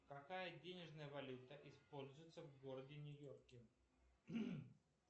какая денежная валюта используется в городе нью йорке